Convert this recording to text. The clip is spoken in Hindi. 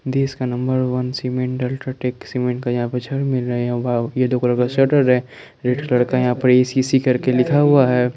देश का number one cement UltraTech cement का यहां पे छड़ मिल रहा है यहां वाव ये दो कलर का शटर है रेड कलर का यहाँ पर ए_सी_सी करके लिखा हुआ है।